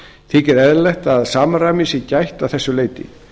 þykir eðlilegt að samræmis sé gætt að þessu leyti